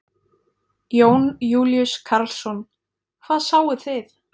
Jón Júlíus Karlsson: Hvað sáuð þið?